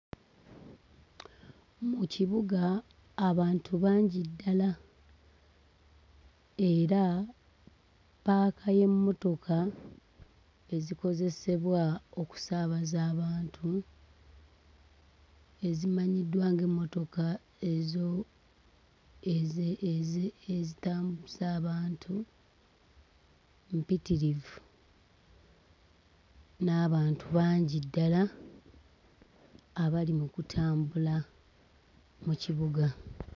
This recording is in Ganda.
Mu kibuga abantu bangi ddala era ppaaka y'emmotoka ezikozesebwa okusaabaza abantu ezimanyiddwa ng'emmotoka ezo eze ezi ezitambuza abantu mpitirivu n'abantu bangi ddala abali mu kutambula mu kibuga.